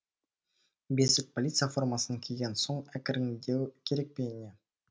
бесик полиция формасын киген соң әкіреңдеу керек пе не